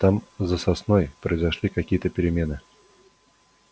там за сосной произошли какие то перемены